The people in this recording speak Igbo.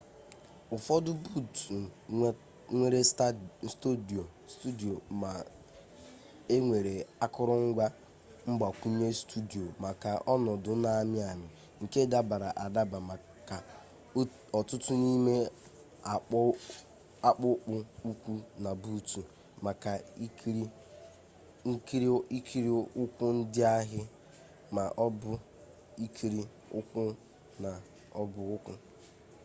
ụfọdụ buutu nwere stọọdụ ma e nwere akụrụngwa mgbakwunye stọọdụ maka ọnọdụ na-amị amị nke dabara adaba maka ọtụtụ n'ime akpụkpọ ụkwụ na buutu maka ikiri ụkwụ ndị ahị ma ọ bụ ikiri ụkwụ na ọbọụkwụ